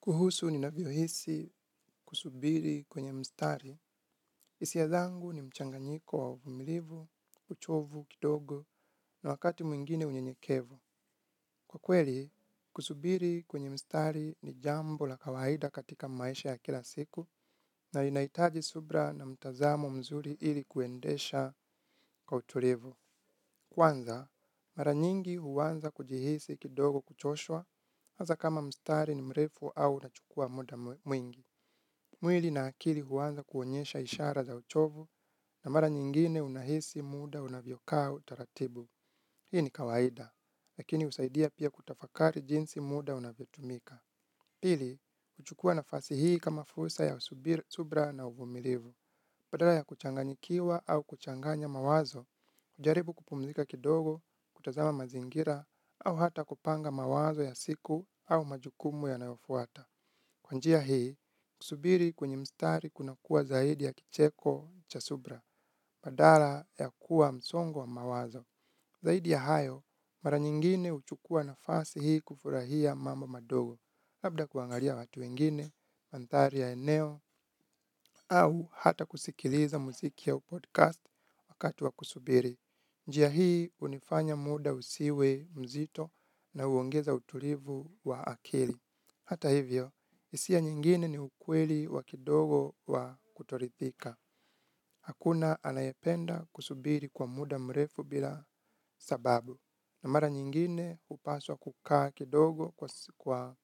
Kuhusu ninavyohisi kusubiri kwenye mstari. Hisia zangu ni mchanganyiko wa uvumilivu, uchovu, kidogo na wakati mwingine unyenyekevu. Kwa kweli, kusubiri kwenye mstari ni jambo la kawaida katika maisha ya kila siku na inahitaji subira na mtazamo mzuri ili kuendesha kwa utulivu. Kwanza, mara nyingi huanza kujihisi kidogo kuchoshwa hasa kama mstari ni mrefu au nachukua muda mwingi. Mwili na akili huanza kuonyesha ishara za uchovu na mara nyingine unahisi muda unavyokaa utaratibu. Hii ni kawaida, lakini husaidia pia kutafakari jinsi muda unavyotumika. Pili, huchukua nafasi hii kama fursa ya subira na uvumilivu. Badala ya kuchanganyikiwa au kuchanganya mawazo, hujaribu kupumzika kidogo, kutazama mazingira, au hata kupanga mawazo ya siku au majukumu yanayofuata. Kwa njia hii, kusubiri kwenye mstari kunakuwa zaidi ya kicheko cha subira, badala ya kuwa msongo wa mawazo. Zaidi ya hayo, mara nyingine huchukua nafasi hii kufurahia mambo madogo, labda kuangalia watu wengine, mandhari ya eneo, au hata kusikiliza muziki au podcast wakati wa kusubiri. Njia hii, hunifanya muda usiwe mzito na huongeza utulivu wa akili. Hata hivyo, hisia nyingine ni ukweli wa kidogo wa kutoridhika. Hakuna anayependa kusubiri kwa muda mrefu bila sababu. Na mara nyingine hupaswa kukaa kidogo kwa